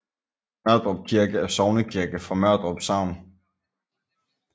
Mørdrup Kirke er sognekirke for Mørdrup Sogn